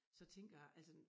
Så tænker jeg altså